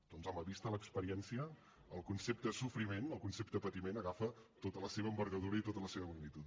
doncs home vista l’experiència el concepte sofriment el concepte patiment agafa tota la seva envergadura i tota la seva magnitud